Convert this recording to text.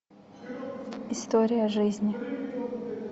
история жизни